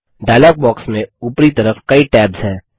dialogue box में उपरी तरफ कई टैब्स हैं